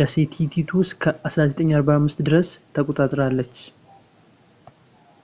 ደሴቲቱ እስከ 1945 ድረስ ተቆጣጠራለች